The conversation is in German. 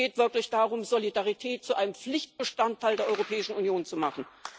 Es geht wirklich darum, Solidarität zu einem Pflichtbestandteil der Europäischen Union zu machen.